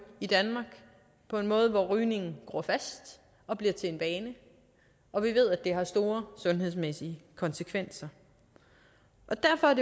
i danmark på en måde hvor rygningen gror fast og bliver til en vane og vi ved at det har store sundhedsmæssige konsekvenser derfor er